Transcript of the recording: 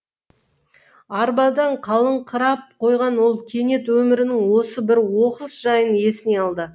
арбадан қалыңқырап қойған ол кенет өмірінің осы бір оқыс жайын есіне алды